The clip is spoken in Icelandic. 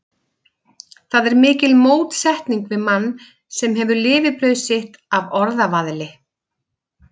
Það er mikil mótsetning við mann, sem hefur lifibrauð sitt af orðavaðli.